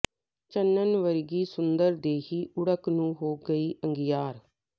ਚੰਨਣ ਵਰਗੀ ਸੁੰਦਰ ਦੇਹੀ ਓੜਕ ਨੂੰ ਹੋ ਗਈ ਅੰਗਿਆਰ